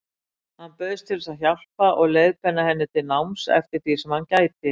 Hann bauðst til að hjálpa og leiðbeina henni til náms eftir því sem hann gæti.